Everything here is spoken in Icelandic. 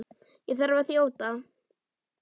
Ég þarf að þjóta.